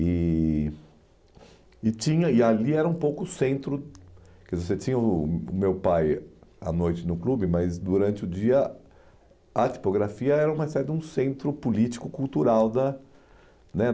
eh e tinha e ali era um pouco o centro... Que Você tinha o o meu pai à noite no clube, mas durante o dia a tipografia era uma espécie de um centro político-cultural da né